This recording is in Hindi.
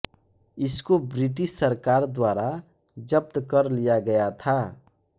इसको ब्रिटिश सरकार द्वारा जब्त कर लिया गया था